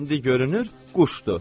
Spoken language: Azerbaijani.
İndi görünür, quşdur.